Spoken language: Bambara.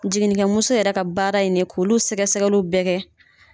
Jinikɛ muso yɛrɛ ka baara ye nin ye k'olu sɛgɛ sɛgɛliw bɛɛ kɛ.